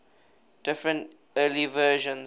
different early versions